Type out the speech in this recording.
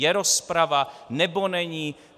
Je rozprava, nebo není?